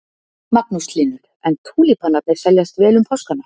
Magnús Hlynur: En túlípanarnir seljast vel um páskana?